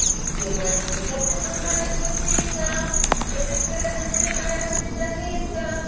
все мои сюжеты по твоим картинкам девочка разноцветная витаминка